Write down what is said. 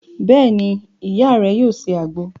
Beeni, Iya re yoo se agbo